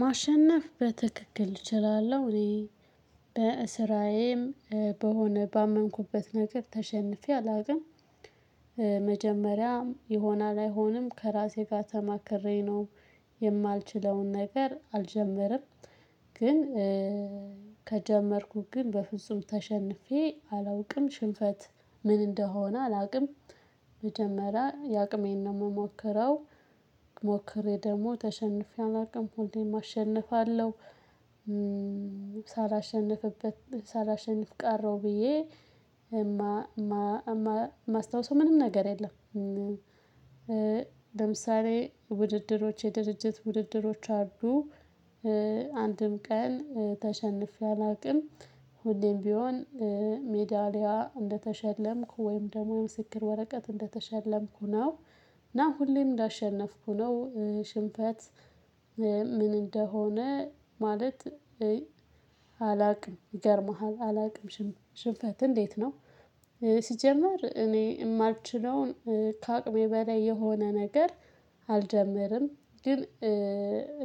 ማሸነፍ በትክክል እችላለሁ እኔ በስራየም በሆነ ባመንኩበት ነገር ተሸንፌ አላውቅም። መጀመሪያም ይሆናል አይሆንም ከራሴ ጋር ተማክሬ ነው የማልችለውን ነገር አልጀመርም። ግን ከጀመርኩት ግን በፍጹም ተሸንፌ አላውቅም ሽንፈት ምን እንደሆነ አላውቅም። መጀመሪያ የአቅሜን ነው የምሞክረው ሞክሬ ደግሞ ተሸንፌ አላውቅም ሁለም አሸንፋለሁ። ሳላሸንፍበት ሳላሸንፍ ቀረው ብዬ እማ ማስታውሰው ምንም ነገር የለም። ለምሳሌ ውድድሮች የድርጅት ውድድሮች አሉ። አንድም ቀን ተሸንፌ አላውቅም። ሁሌም ቢሆን ሜዳሊያ እንደተሸለምኩ ወይም ደግሞ የምስክር ወረቀት እንደተሸለምኩ ነው። እና ሁሌም እንዳሸነፍኩ ነው። ሽንፈት ምን እንደሆነ ማለት አላውቅም። ይገርምሃል አላውቅም ሽንፈት እንዴት ነው? ሲጀመር እኔ የማልችለውን ከአቅሜ በላይ የሆነ ነገር አልጀምርም። ግን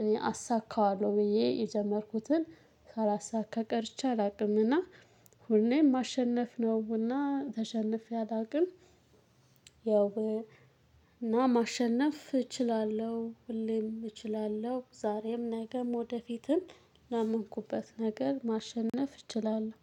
እኔ አሳካዋለሁ ብዬ የጀመርኩትን ካላሳካ ቀርቼ አላውቅምና። ሁሌም ማሸነፍ ነውና ተሸንፌ አላውቅም። ያው እና ማሸነፍ እችላለሁ ሁለም እችላለሁ ዛሬም ነገም ወደፊትም ለመንኩበት ነገር ማሸነፍ እችላለሁ